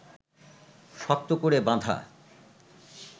শক্ত করে বাঁধা